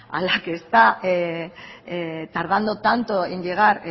a la que está tardando tanto en llegar